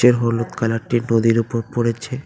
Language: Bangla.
এর হলুদ কালার -টি নদীর ওপর পড়েছে।